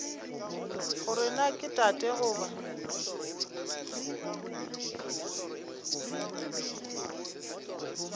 gore na ke tate goba